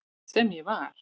Sem ég var.